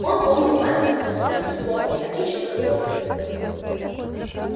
он помнил мать смутно все таки помнил а кичи забыла сына